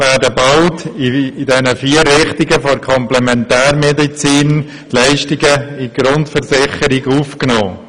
Auch werden bald vier Richtungen der Komplementärmedizin in die Leistungen der Grundversicherung aufgenommen.